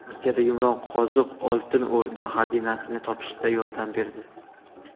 Rossiyada yumronqoziq Oltin O‘rda xazinasini topishda yordam berdi.